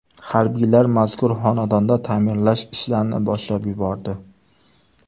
Harbiylar mazkur xonadonda ta’mirlash ishlarini boshlab yubordi.